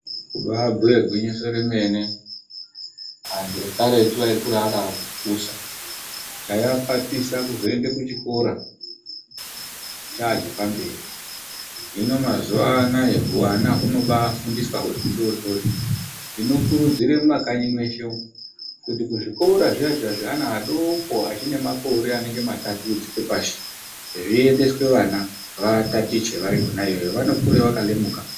Kubaabhuye gwinyiso remene antu ekaretu ayikura akapusa. Chaiapatisa kuzoende kuchikora chaa chepamberi hino mazuwa anaaya huana hunobaafundiswa huri hudoodori. Ndinokuridzire mumakanyi mweshe umwu kuti kuzvikora zviya zviya zveana adoko achine makore anonge matatu kudzike pashi zviendeswe vana vatatichwe vari khona iyoyo vanokure vakalemuka.